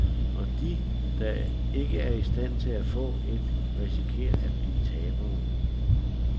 Og de, der ikke er i stand til at få et, risikerer at blive tabere.